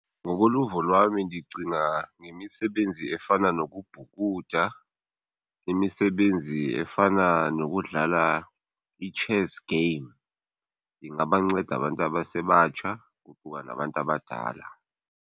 Ngokoluvo lwami ndicinga ngemisebenzi efana nokubhukuda, imisebenzi efana nokudlala i-chess game. Ingabanceda abantu abasebatsha, kuquka nabantu abadala.